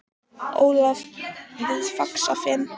Ólaf við Faxafen.